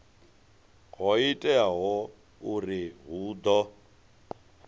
ho teaho uri hu ḓo